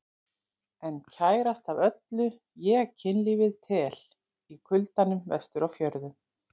En kærast af öllu ég kynlífið tel, í kuldanum vestur á fjörðum.